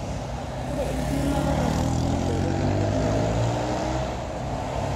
Ore enkimataa taa oltungani botor naa kidimayu.